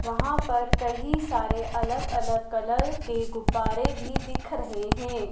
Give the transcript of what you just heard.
वहां पर कहीं सारे अलग अलग कलर के गुब्बारे भी दिख रहे हैं।